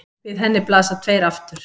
Við henni blasa tveir aftur